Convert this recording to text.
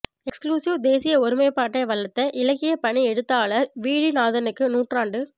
exclusive தேசிய ஒருமைப்பாட்டை வளர்த்த இலக்கிய பணி எழுத்தாளர் வீழிநாதனுக்கு நூற்றாண்டு